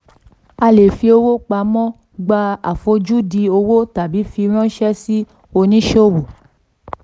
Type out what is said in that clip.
a lè fi owó pamọ́ gba àfojúdi owó tàbí fi ránṣẹ́ sí oníṣòwò.